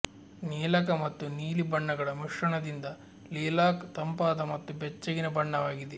ನೀಲಕ ಮತ್ತು ನೀಲಿ ಬಣ್ಣಗಳ ಮಿಶ್ರಣದಿಂದ ಲಿಲಾಕ್ ತಂಪಾದ ಮತ್ತು ಬೆಚ್ಚಗಿನ ಬಣ್ಣವಾಗಿದೆ